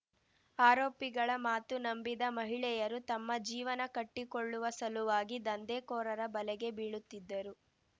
ಆರೋಪಿಗಳ ಮಾತು ನಂಬಿದ ಮಹಿಳೆಯರು ತಮ್ಮ ಜೀವನ ಕಟ್ಟಿಕೊಳ್ಳುವ ಸಲುವಾಗಿ ದಂಧೆಕೋರರ ಬಲೆಗೆ ಬೀಳುತ್ತಿದ್ದರು